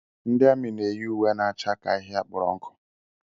Ndị amị n'eyi uwe na-acha ka ahịhịa kpọrọ nkụ.